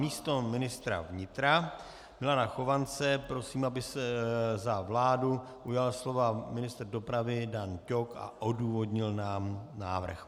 Místo ministra vnitra Milana Chovance prosím, aby se za vládu ujal slova ministr dopravy Dan Ťok a odůvodnil nám návrh.